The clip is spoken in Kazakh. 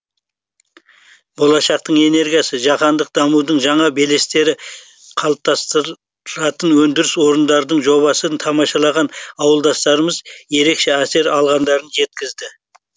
болашақтың энергиясы жаһандық дамудың жаңа белестері қалыптастыратын өндіріс орындарының жобасын тамашалаған ауылдастарымыз ерекше әсер алғандарын жеткізді